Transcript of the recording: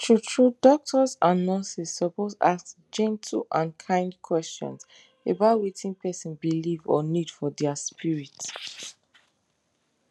true true doctors and nurses suppose ask gentle and kind questions about wetin person believe or need for their spirit